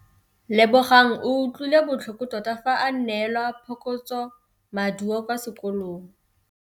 Lebogang o utlwile botlhoko tota fa a neelwa phokotsômaduô kwa sekolong.